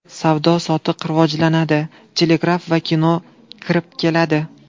Savdo-sotiq rivojlanadi, telegraf va kino kirib keladi.